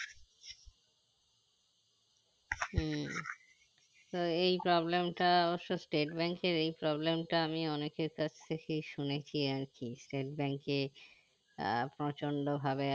উম তো এই problem টা অবশ্য state bank এর problem টা আমি অনেকের কাছ থেকে শুনেছি আরকি state bank এ আহ প্রচন্ড ভাবে